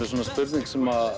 svona spurning sem